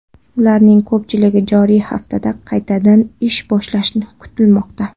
Ularning ko‘pchiligi joriy haftada qaytadan ish boshlashi kutilmoqda.